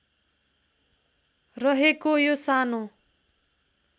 रहेको यो सानो